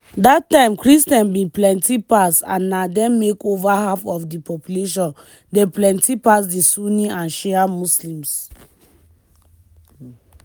dat time christians bin plenti pass and na dem make up over half of di population dem plenti pass di sunni and shia muslims.